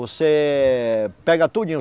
Você pega tudinho.